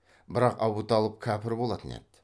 бірақ абуталып кәпір болатын еді